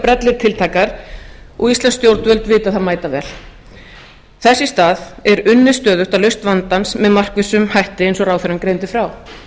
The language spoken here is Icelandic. brellur tiltækar og íslensk stjórnvöld vita það mætavel þess í stað er unnið stöðugt að lausn vandans með markvissum hætti eins og ráðherrann greindi frá